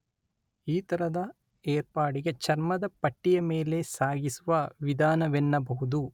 ಈ ತರದ ಏರ್ಪಾಡಿಗೆ ಚರ್ಮದ ಪಟ್ಟಿಯ ಮೇಲೆ ಸಾಗಿಸುವ ವಿಧಾನವೆನ್ನಬಹುದು.